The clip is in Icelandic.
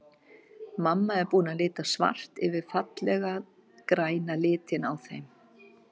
Mamma er búin að lita svart yfir fallega græna litinn á þeim.